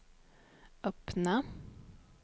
öppna